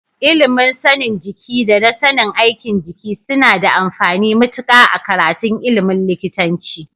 Ilimin sanin jiki da na sanin aikin jiki suna da amfani matuƙa a karatun ilimin likitanci.